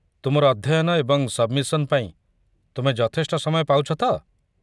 ତୁମର ଅଧ୍ୟୟନ ଏବଂ ସବ୍‌ମିସନ୍ ପାଇଁ ତୁମେ ଯଥେଷ୍ଟ ସମୟ ପାଉଛ ତ?